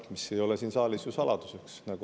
See ei ole siin saalis saladuseks.